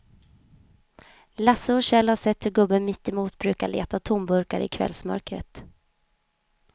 Lasse och Kjell har sett hur gubben mittemot brukar leta tomburkar i kvällsmörkret.